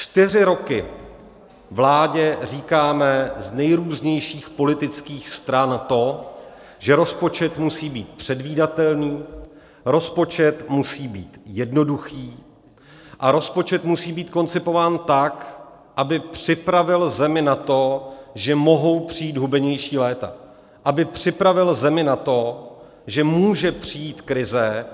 Čtyři roky vládě říkáme z nejrůznějších politických stran to, že rozpočet musí být předvídatelný, rozpočet musí být jednoduchý a rozpočet musí být koncipován tak, aby připravil zemi na to, že mohou přijít hubenější léta, aby připravil zemi na to, že může přijít krize,